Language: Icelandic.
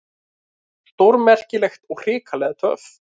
Stórmerkilegt og hrikalega töff.